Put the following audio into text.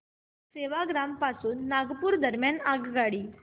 सेवाग्राम पासून नागपूर दरम्यान आगगाडी